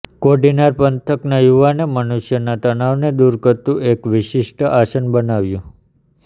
કોડીનાર પંથકના યુવાને મનુષ્યના તનાવને દૂર કરતુ એક વિશિષ્ટ આસન બનાવ્યું